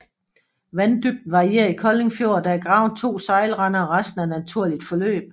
Vanddybden varierer i Kolding Fjord og der er gravet to sejlrender og resten er naturligt forløb